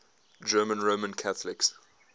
german roman catholics